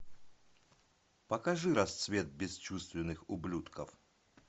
покажи расцвет бесчувственных ублюдков